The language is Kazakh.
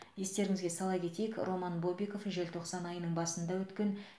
естеріңізге сала кетейік роман бобиков желтоқсан айының басында өткен